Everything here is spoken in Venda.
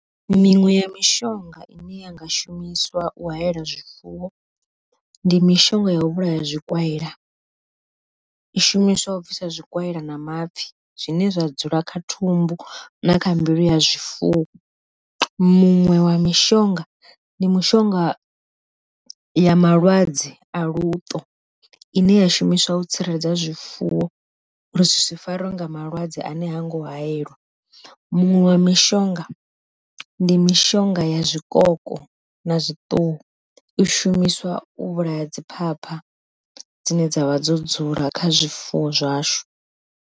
Miṅwe ya mishonga ine yanga shumiswa u haela zwifuwo ndi mishonga yau vhulaya zwikwaila, i shumiswa u bvisa zwikwaila na mapfhi zwine zwa dzula kha thumbu na kha mbilu ya zwifuwo. Muṅwe wa mishonga ndi mushonga ya malwadze a luṱo, ine ya shumiswa u tsireledza zwifuwo uri zwi si farwe nga malwadze ane ha ngo hayeliwa. Muṅwe wa mishonga ndi mishonga ya zwikoko na i shumiswa u vhulaya dzi phapha dzine dza vha dzo dzula kha zwifuwo zwashu.